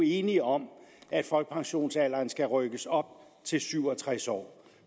enige om at folkepensionsalderen skal rykkes op til syv og tres år